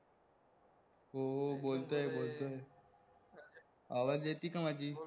हो हो बोलतोय बोलतोय, आवाज येति का माझी